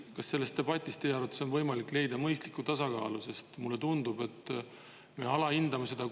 Kas teie arvates on selles debatis võimalik leida mõistlikku tasakaalu, sest mulle tundub, et me alahindame seda kulu, mis tekib siis, kui me mitte midagi ei tee?